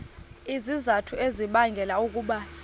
izizathu ezibangela ukuba